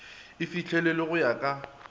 e fihlelelwe go ya ka